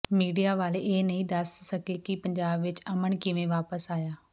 media ਵਾਲੇ ਇਹ ਨਹੀਂ ਦੱਸ ਸਕੇ ਕਿ ਪੰਜਾਬ ਵਿਚ ਅਮਨ ਕਿਵੇਂ ਵਾਪਸ ਆਇਆ